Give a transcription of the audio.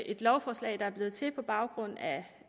et lovforslag der er blevet til på baggrund af